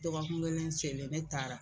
Dɔgɔkun kelen selen ne taara